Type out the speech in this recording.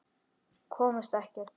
Komust ekkert.